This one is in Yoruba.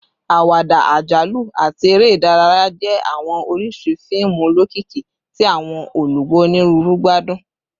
Awada, ajalu, ati ere idaraya jẹ awọn oriṣi fiimu olokiki ti awọn olugbo oniruuru gbadun